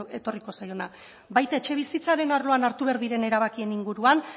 etorriko zaiona baita etxebizitzaren arloan hartu behar diren erabakien inguruan